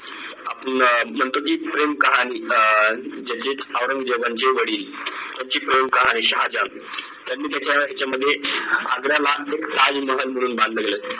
आपण म्हणतो की प्रेम कहाणी अं ज्याची औरंगजेबाचे वडील यांची प्रेम कहाणी शाहजान त्यांनी त्याच्या ह्यांच्यामध्ये आग्र्याला एक ताजमहाल म्हणून बांधलं गेलं